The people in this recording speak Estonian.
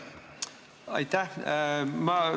Aitäh!